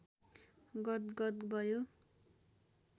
गदगद भयो